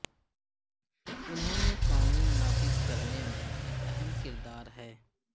انہوں نے قانون نافذ کرنے میں ایک اہم کردار ہے